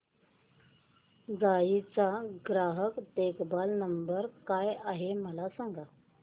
GE चा ग्राहक देखभाल नंबर काय आहे मला सांग